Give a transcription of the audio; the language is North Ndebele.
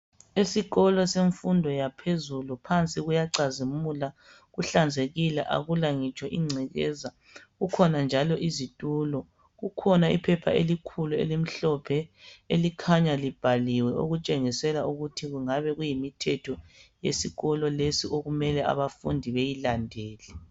Esikolo semfundo yaphezulu phansi kuyacazimula. Kuhlanzekile akulangitsho ingcekeza. Kukhona njalo izitulo. Kukhona iphepha elikhulu elimhlophe. Elikhanya libhaliwe okutshengisela ukuthi kungabe kuyi mithetho yesikolo lesi okumele abafundi beyilandele.